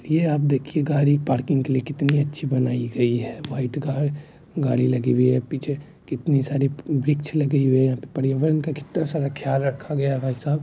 ये आप देखिए गाड़ी पार्किंग के लिए कितनी अच्छी बनाई गई है व्हाइट गाड़ गाड़ी लगी हुई है पीछे कितनी सारी वृक्ष लगाई हुई है पर्यावरण का कितना ख्याल रखा गया है।